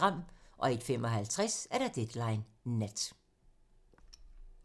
01:55: Deadline nat